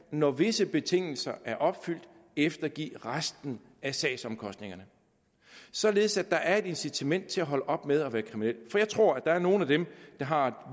når visse betingelser er opfyldt kan eftergive resten af sagsomkostningerne således at der er et incitament til at holde op med at være kriminel for jeg tror at for nogle af dem der har